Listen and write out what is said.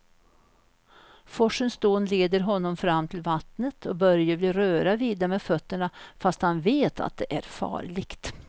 Forsens dån leder honom fram till vattnet och Börje vill röra vid det med fötterna, fast han vet att det är farligt.